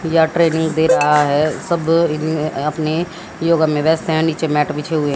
या ट्रेनिंग दे रहा है। सब अपने योगा में व्यस्त है। नीचे मेंट बिछी हुई है।